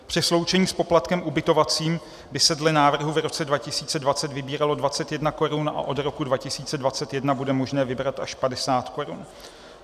Při sloučení s poplatkem ubytovacím by se dle návrhu v roce 2020 vybíralo 21 korun a od roku 2021 bude možné vybrat až 50 korun.